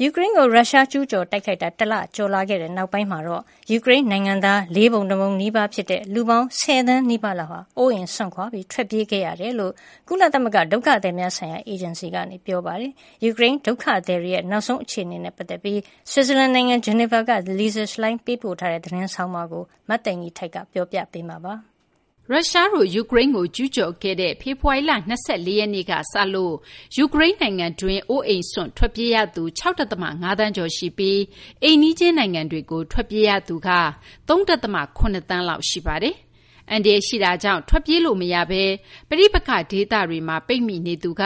ယူကရိန်းကို ကျူးကျော်ခဲ့တဲ့ ပြီးခဲ့တဲ့ တလကျော်နောက်ပိုင်း ယူကရိန်း ပြည်သူတွေရဲ့ လေးပုံတပုံနီးပါးရှိတဲ့ လူပေါင်း ၁၀ သန်းနီးပါး အိုးအိမ်စွန့်ခွာ ထွက်ပြေးရကြောင်း ကုလသမဂ္ဂ ဒုက္ခသည်များဆိုင်ရာ အေဂျင်စီ (UNHCR) က ပြောဆိုထားပါတယ်။ ဆွစ်ဇာလန်နိုင်ငံ ဂျီနီဗာကနေ Lisa Schlein ပေးပို့တဲ့ သတင်းဆောင်းပါးကို မသိင်္ဂီထိုက် ပြောပြပေးပါမယ်။ ရုရှားတို့ ယူကရိန်းကို ကျူးကျော်ခဲ့တဲ့ ဖေဖော်ဝါရီလ ၂၄ ရက်နေ့ကစလို့ ယူကရိန်းနိုင်ငံတွင်းမှာပဲ အိုးအိမ်စွန့်ခွာ ထွက်ပြေးရသူ ၆ ဒသမ ၅ သန်းကျော်ရှိပြီး အိမ်နီးချင်းနိုင်ငံတွေကို ထွက်ပြေးရသူက ၃ ဒသမ ၇ သန်းလောက် ရှိပါတယ်။ အန္တရာယ်ရှိတာကြောင့် ထွက်ပြေးလို့မရဘဲ ပဋိပက္ခဒေသတွေမှာ ပိတ်မိနေသူက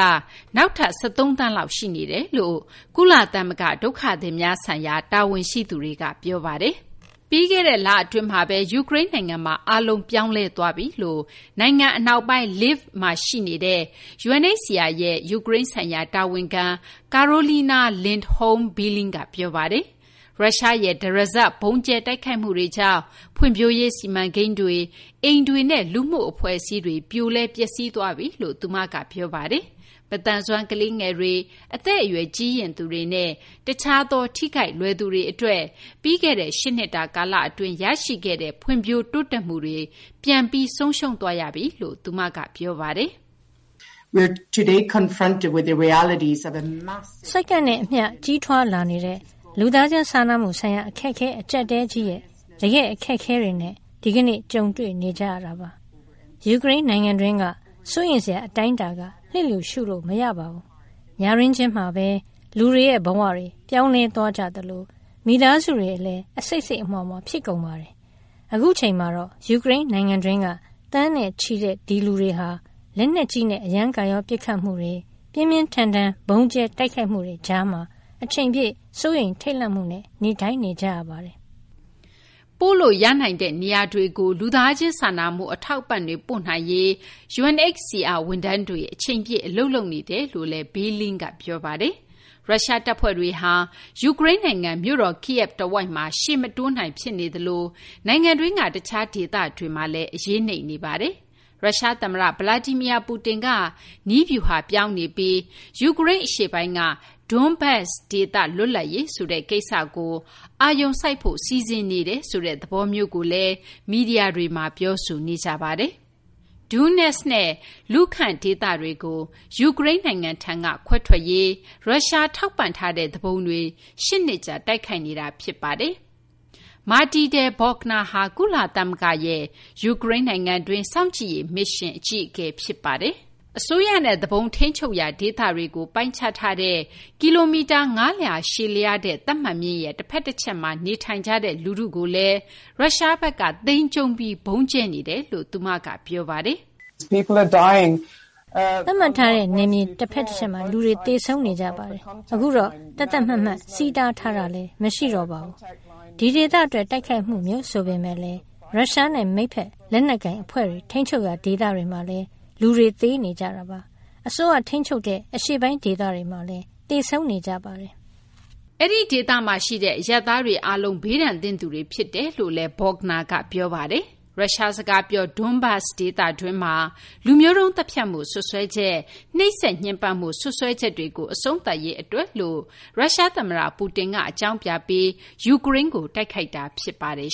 နောက်ထပ် ၁၃ သန်းလောက် ရှိနေကြောင်း ကုလသမဂ္ဂ ဒုက္ခသည်များဆိုင်ရာ တာဝန်ရှိသူတွေက ပြောပါတယ်။ ပြီးခဲ့တဲ့လအတွင်းမှာပဲ ယူကရိန်းနိုင်ငံမှာ အားလုံး ပြောင်းလဲသွားပြီလို့ နိုင်ငံအနောက်ပိုင်း Lviv မှာ ရှိနေတဲ့ UNHCR ရဲ့ ယူကရိန်းဆိုင်ရာ တာဝန်ခံ Karolina Lindholm Billing က ပြောပါတယ်။ ရုရှားရဲ့ တရစပ် ဗုံးကြဲတိုက်ခိုက်မှုတွေကြောင့် ဖွံ့ဖြိုးရေးစီမံကိန်းတွေ၊ အိမ်တွေနဲ့ လူမှုအဖွဲ့အစည်းတွေ ပြိုလဲ ပျက်စီးသွားပြီလို့ သူမက ပြောပါတယ်။ မသန်စွမ်း ကလေးငယ်တွေ၊ အသက်အရွယ် ကြီးရင့်သူတွေနဲ့ တခြားသော ထိခိုက်လွယ်သူတွေအတွက် ပြီးခဲ့တဲ့ ၈ နှစ်တာ ကာလအတွင်း ရရှိခဲ့တဲ့ ဖွံ့ဖြိုးတိုးတက်မှုတွေ ပြန်ပြီး ဆုံးရှုံးသွားရပြီလို့လည်း သူမက ပြောပါတယ်။ “စက္ကန့်နဲ့အမျှ ကြီးထွားလာနေတဲ့ လူသားချင်းစာနာမှုဆိုင်ရာ အခက်အခဲ အကျပ်အတည်းကြီးရဲ့ တကယ့် အခက်အခဲတွေနဲ့ ဒီကနေ့ ကြုံတွေ့နေရတာပါ။ ယူကရိန်းနိုင်ငံတွင်းက စိုးရိမ်စရာ အတိုင်းအတာက လျစ်လျူရှုလို့ မရပါဘူး။ ညတွင်းချင်းမှာပဲ လူတွေရဲ့ဘဝတွေ ပြောင်းလဲသွားကြသလို မိသားစုတွေလည်း အစိတ်စိတ်အမြွှာမြွှာ ဖြစ်ကုန်ပါတယ်။ အခုအချိန်မှာတော့ ယူကရိန်းနိုင်ငံတွင်းက သန်းနဲ့ချီတဲ့ ဒီလူတွေဟာ လက်နက်ကြီးနဲ့ အရမ်းကာရော ပစ်ခတ်မှုတွေ၊ ပြင်းပြင်းထန်ထန် ဗုံးကြဲတိုက်ခိုက်မှုတွေကြားမှာ အချိန်ပြည့် စိုးရိမ်ထိတ်လန့်မှုနဲ့ နေထိုင်နေကြရပါတယ်။” ပို့လို့ရနိုင်တဲ့ နေရာတွေကို လူသားချင်းစာနာမှု အထောက်အပံ့တွေ ပို့နိုင်ရေး UNHCR ဝန်ထမ်းတွေ အချိန်ပြည့် အလုပ်လုပ်နေကြောင်းလည်း Billing က ပြောပါတယ်။ ရုရှားတပ်ဖွဲ့တွေဟာ ယူကရိန်းနိုင်ငံ မြို့တော် Kyiv တဝိုက်မှာ ရှေ့မတိုးနိုင် ဖြစ်နေသလို နိုင်ငံတွင်းက တခြားဒေသတွေမှာလည်း အရေးနိမ့်နေပါတယ်။ ရုရှားသမ္မတ Vladimir Putin က နည်းဗျူဟာပြောင်းနေပြီး ယူကရိန်းအရှေ့ပိုင်းက Donbas ဒေသ လွတ်လပ်ရေးဆိုတဲ့ ကိစ္စကို အာရုံစိုက်ဖို့ စီစဉ်နေတယ်ဆိုတဲ့ သဘောမျိုးကိုလည်း မီဒီယာတွေမှာ ပြောဆိုနေကြပါတယ်။ Donetsk နဲ့ Luhansk ဒေသကို ယူကရိန်းထံက ခွဲထွက်ရေးအတွက် ရုရှား ထောက်ပံ့ထားတဲ့ သူပုန်တွေ ၈ နှစ်ကြာ တိုက်ခိုက်နေတာ ဖြစ်ပါတယ်။ Matilda Bogner ဟာ ယူကရိန်းနိုင်ငံတွင်း ကုလသမဂ္ဂ စောင့်ကြည့်ရေးမစ်ရှင်ရဲ့ အကြီးအကဲ ဖြစ်ပါတယ်။ အစိုးရနဲ့ သူပုန် ထိန်းချုပ်ရာ ဒေသတွေကို ပိုင်းခြားထားတဲ့ ကီလိုမီတာ ၅၀၀ ရှည်လျားတဲ့ သတ်မှတ်မျဉ်းရဲ့ တဖက်တချက်မှာ နေထိုင်ကြတဲ့ လူထုကိုလည်း ရုရှားဘက်က မခွဲခြားဘဲ ဗုံးကြဲနေတယ်လို့ သူမက ပြောပါတယ်။ “အရင်က သတ်မှတ်မျဉ်းရဲ့ နှစ်ဖက်စလုံးကလူတွေ သေဆုံးနေကြပါတယ်။ အခုတော့ သတ်သတ်မှတ်မှတ် ထိန်းချုပ်မျဉ်းလည်း မရှိတော့ပါဘူး။ ဒီဒေသအတွက် တိုက်ခိုက်မှုမျိုး ဆိုပေမယ့်လည်း ရုရှားနဲ့ မိတ်ဘက် လက်နက်ကိုင်အဖွဲ့တွေ ထိန်းချုပ်ရာ ဒေသတွေမှာလည်း လူတွေ သေနေကြပါတယ်။ အစိုးရထိန်းချုပ်တဲ့ အရှေ့ပိုင်း ဒေသတွေမှာလည်း သေဆုံးနေကြပါတယ်။” အဲဒီဒေသမှာရှိတဲ့ အရပ်သားတွေအားလုံး ဘေးဒဏ်သင့်သူတွေ ဖြစ်တယ်လို့လည်း Bogner က ပြောပါတယ်။ ရုရှားစကားပြော Donbas ဒေသတွင်းမှာ လူမျိုးတုံး သတ်ဖြတ်မှု စွပ်စွဲချက်၊ နှိပ်စက်ညှဉ်းပန်းမှု စွပ်စွဲချက်တွေကို အဆုံးသတ်ရေး အတွက်လို့ ရုရှားသမ္မတ Putin က အကြောင်းပြပြီး ယူကရိန်းကို တိုက်ခိုက်တာ ဖြစ်ပါတယ်